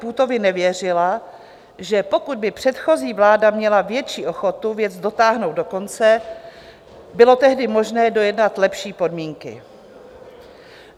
Půtovi nevěřila, že pokud by předchozí vláda měla větší ochotu věc dotáhnout do konce, bylo tehdy možné dojednat lepší podmínky.